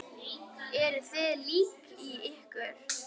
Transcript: Eruð þið lík í ykkur?